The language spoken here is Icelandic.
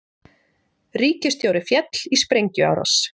Ríkisstjóri féll í sprengjuárás